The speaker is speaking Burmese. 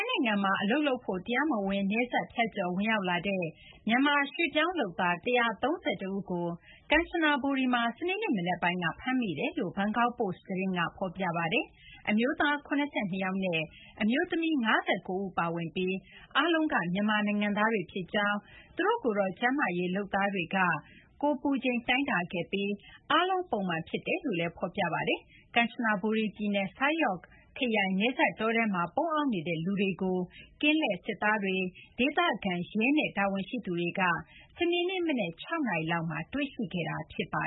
ိုင်ငံမှာ အလုပ်လုပ်ဖို့ တရားမဝင် နယ်စပ်ဖြတ်ကျော် ဝင်ရောက်လာတဲ့ မြန်မာ ရွှေ့ပြောင်းလုပ်သား ၁၃၁ ဦးကို ကန်ချနဘူရီမှာ စနေနေ့ မနက်ပိုင်းက ဖမ်းမိကြောင်း ဘန်ကောက်ပို့စ်သတင်းက ဖော်ပြပါတယ်။ အမျိုးသား ၇၂ ယောက်နဲ့ အမျိုးသမီး ၅၉ ဦး ပါဝင်ပြီး အားလုံးက မြန်မာနိုင်ငံသားတွေ ဖြစ်ကြောင်း၊ ကျန်းမာရေးလုပ်သားတွေက ဖမ်းဆီးခံရတဲ့ မြန်မာ ရွှေ့ပြောင်းလုပ်သားအားလုံးကို ကိုယ်ပူချိန် တိုင်းတာခဲ့ပြီး အားလုံး ပုံမှန်ဖြစ်ကြောင်းလည်း ဖော်ပြပါတယ်။ ကန်ချနဘူရီပြည်နယ် Sai Yok ခရိုင် နယ်စပ် တောထဲမှာ ပုန်းအောင်းနေတဲ့ လူတွေကို ကင်းလှည့်စစ်သားတွေ၊ ဒေသခံရဲနဲ့ တာဝန်ရှိသူတွေက စနေနေ့မနက် ၆ နာရီလောက်မှာ တွေ့ရှိခဲ့တာ ဖြစ်ပါ